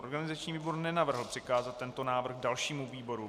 Organizační výbor nenavrhl přikázat tento návrh dalšímu výboru.